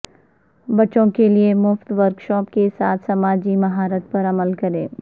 بچوں کے لئے مفت ورکشاپ کے ساتھ سماجی مہارت پر عمل کریں